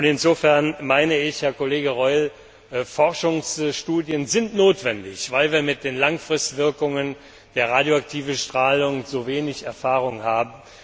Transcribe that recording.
Insofern meine ich, Herr Kollege Reul, Forschungsstudien sind notwendig, weil wir mit den Langzeitwirkungen der radioaktiven Strahlung zu wenig Erfahrung haben.